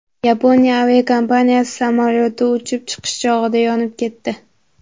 Yaponiya aviakompaniyasi samolyoti uchib chiqish chog‘ida yonib ketdi.